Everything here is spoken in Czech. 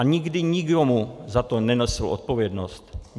A nikdy nikdo za to nenesl odpovědnost.